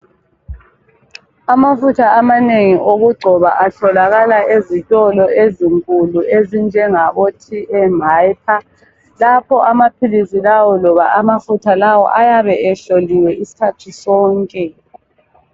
Amafutha amanengi okugcoba atholakala ezitolo ezinkulu ezinjengabo TM Hyper. Lapho amaphilisi lawo loba amafutha lawo ayabe ehloliwe isikhathi sonke.